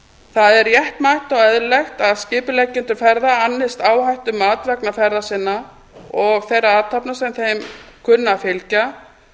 það er réttmætt og eðlilegt að skipuleggjendur ferða annist áhættumat vegna ferða sinna og þeirra athafna sem þeim kunna að fylgja